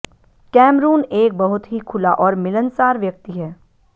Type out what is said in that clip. Cameroon एक बहुत ही खुला और मिलनसार व्यक्ति है